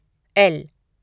L